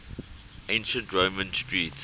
ancient roman street